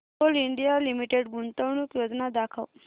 Coal India Limited गुंतवणूक योजना दाखव